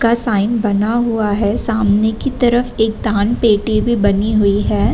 का साइन बना हुआ है। सामने की तरफ एक दान पेटी भी बनी हुई है।